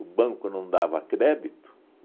O banco não dava crédito.